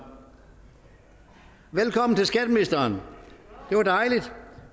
velkommen til skatteministeren det var dejligt